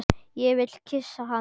Ég vil kyssa hana.